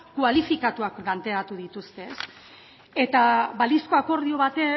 kualifikatuak planteatu dituzte eta balizko akordio